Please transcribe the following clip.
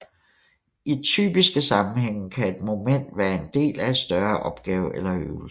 I typiske sammenhænge kan et moment være en del af et større opgave eller øvelse